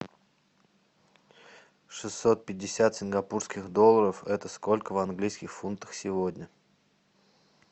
шестьсот пятьдесят сингапурских долларов это сколько в английских фунтах сегодня